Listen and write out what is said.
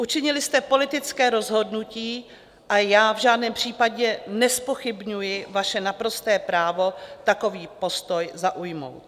Učinili jste politické rozhodnutí a já v žádném případě nezpochybňuji vaše naprosté právo takový postoj zaujmout.